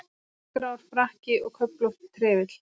Dökkgrár frakki og köflóttur trefill.